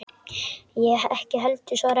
Ég ekki heldur, svaraði ég.